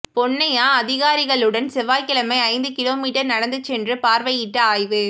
பொன்னைய்யா அதிகாரிகளுடன் செவ்வாய்கிழமை ஐந்து கிலோமீட்டர் நடந்து சென்று பார்வையிட்டு ஆய்வு